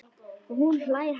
Og hún hlær hátt.